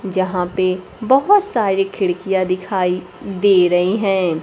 जहां पे बहोत सारी खिड़कियां दिखाई दे रही है।